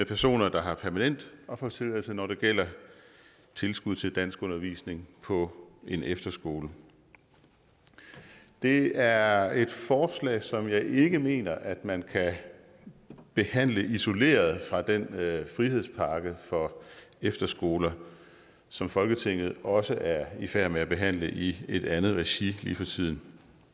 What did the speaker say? personer der har permanent opholdstilladelse når det gælder tilskud til danskundervisning på en efterskole det er et forslag som jeg ikke mener at man kan behandle isoleret fra den frihedspakke for efterskoler som folketinget også er i færd med at behandle i et andet regi lige for tiden